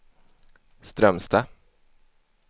Strömstad